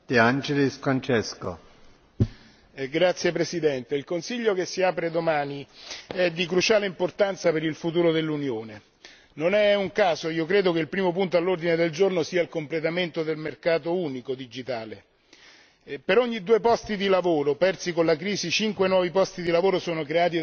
Signor Presidente, onorevoli colleghi, il Consiglio che si apre domani è di cruciale importanza per il futuro dell'Unione. Credo non sia un caso che il primo punto all'ordine del giorno sia il completamento del mercato unico digitale. Per ogni due posti di lavoro persi con la crisi, cinque nuovi posti di lavoro sono creati dalla diffusione dell'economia digitale, ma